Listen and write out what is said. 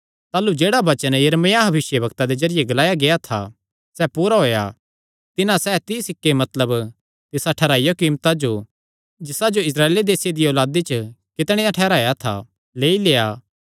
ताह़लू जेह्ड़ा वचन यिर्मयाह भविष्यवक्ता दे जरिये ग्लाया गेआ था सैह़ पूरा होएया तिन्हां सैह़ तीई सिक्के मतलब तिसा ठैहराईयो कीमता जो जिसा जो इस्राएल देसे दिया औलादी च कितणेयां ठैहराया था लेई लेआ